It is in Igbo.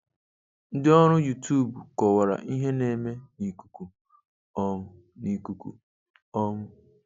Ńdị́ ọ́rụ́ Youtube kọ̀wàrà ìhè ná-émé n' ìkùkù um n' ìkùkù um